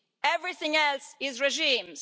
Everything else is regimes.